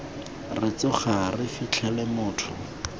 re tsoga re fitlhele motho